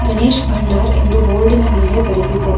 ಗಣೇಶ್ ಬಂಡಾರ್ ಎಂದು ಬೋರ್ಡಿನ ಮೇಲೆ ಬರೆದಿದೆ.